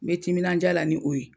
Me timindiya la ni o ye.